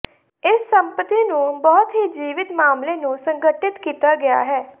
ਇਸ ਸੰਪਤੀ ਨੂੰ ਬਹੁਤ ਹੀ ਜੀਵਤ ਮਾਮਲੇ ਨੂੰ ਸੰਗਠਿਤ ਕੀਤਾ ਗਿਆ ਹੈ